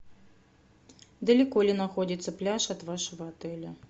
далеко ли находится пляж от вашего отеля